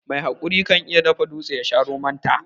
Mai haƙuri kan iya dafa dutse yasha romon ta.